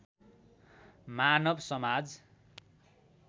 मानव समाज